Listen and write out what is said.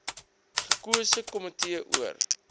gekose komitee oor